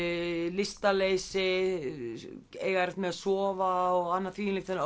lystarleysi eiga erfitt með að sofa og annað